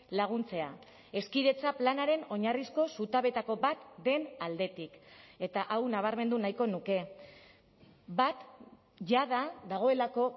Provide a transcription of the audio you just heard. laguntzea hezkidetza planaren oinarrizko zutabeetako bat den aldetik eta hau nabarmendu nahiko nuke bat jada dagoelako